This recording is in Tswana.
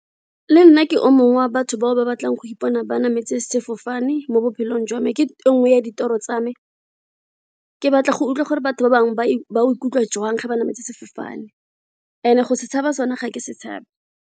Le nna ke o mongwe wa batho bao ba batlang go ipona ba emetse sefofane mo botshelong jwa me ke e nngwe ya ditiro tsa me ke batla go utlwa gore batho ba bangwe ba ba ikutlwa jwang ga ba namele sefofane and go se tshaba sone ga ke se tshabe.